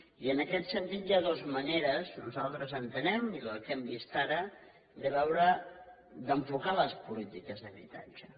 i en aquest sentit hi ha dues maneres nosaltres entenem i pel que hem vist ara de veure d’enfocar les polítiques d’habitatge